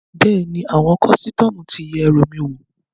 Bẹ́ẹ̀ni, àwọn kọ́sítọ́mù ti yẹ ẹrù mi wò